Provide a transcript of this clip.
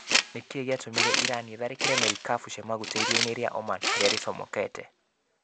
Nĩ kĩĩ gĩatũmire Irani ĩtharĩkĩre marikabu cia maguta iria-inĩ rĩa Oman harĩa rĩcomokete?